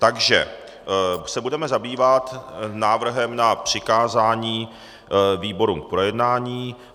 Takže se budeme zabývat návrhem na přikázání výborům k projednání.